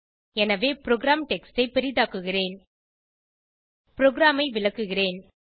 எனவே program text ஐ பெரிதாக்குகிறேன் ப்ரோகிராமை விளக்குகிறேன்